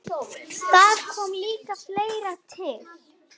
Þar kom líka fleira til.